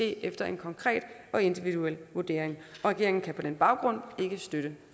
efter en konkret og individuel vurdering regeringen kan på den baggrund ikke støtte